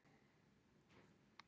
Skjálftavirkni á Arnarvatnsheiði